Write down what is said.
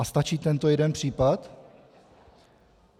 A stačí tento jeden případ?